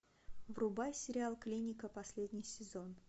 врубай сериал клиника последний сезон